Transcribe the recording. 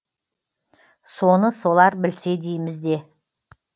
соны солар білсе дейміз де